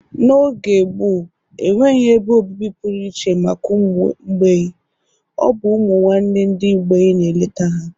N'oge gboo, enweghi ebe obibi pụrụiche maka ụmụ mgbei. Ọ bụ ụmụnwanne ndị mgbei na-eleta ha.